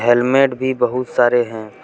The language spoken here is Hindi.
हेलमेट भी बहुत सारे है।